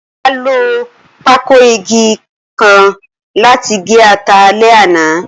Ola lo pákòìgé-nnkan lati ge ata alẹ ana